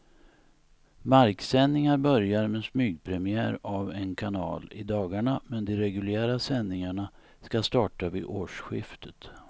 Marksändningar börjar med smygpremiär av en kanal i dagarna, men de reguljära sändningarna ska starta vid årsskiftet.